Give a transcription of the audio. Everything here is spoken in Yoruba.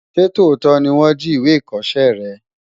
Ṣé tòótọ́ ni wọ́n jí ìwé ìkọṣẹ́ rẹ?